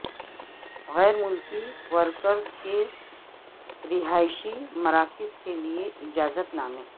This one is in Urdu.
غیر ملکی ورکرز کے رہائشی مراکز کے لیے اجازت نامے